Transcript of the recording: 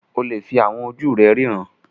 O lè fi àwọn ojú rẹ ríran